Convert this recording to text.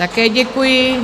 Také děkuji.